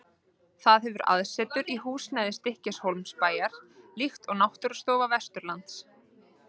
Það hefur aðsetur í húsnæði Stykkishólmsbæjar, líkt og Náttúrustofa Vesturlands.